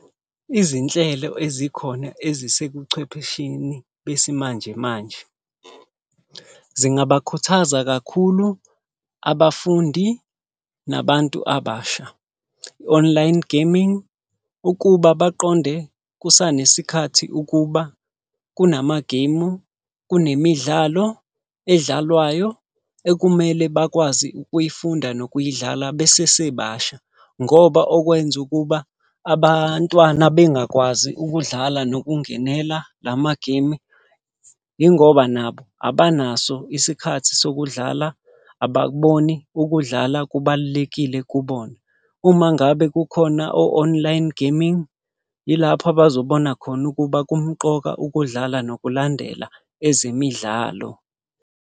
Izinhlelo ezikhona ezisekuchwephesheni besimanje manje. Zingabakhuthaza kakhulu abafundi, nabantu abasha, i-online gaming, ukuba baqonde kusanesikhathi ukuba kunamagemu, kunemidlalo edlalwayo ekumele bakwazi ukuyifunda nokuyidlala besesebasha. Ngoba okwenza ukuba abantwana bengakwazi ukudlala nokungenela lamagemu, yingoba nabo abanaso isikhathi sokudlala, abakuboni ukudlala kubalulekile kubona. Uma ngabe kukhona o-online gaming, yilapho abazobona khona ukuba kumqoka ukudlala nokulandela ezemidlalo.